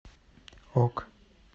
ок